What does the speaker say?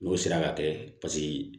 N'o sera ka kɛ paseke